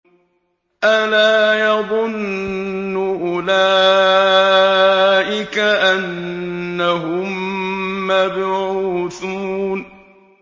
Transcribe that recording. أَلَا يَظُنُّ أُولَٰئِكَ أَنَّهُم مَّبْعُوثُونَ